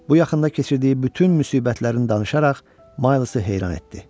Bu yaxında keçirdiyi bütün müsibətlərini danışaraq Maysı heyran etdi.